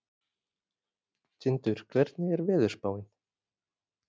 Tindur, hvernig er veðurspáin?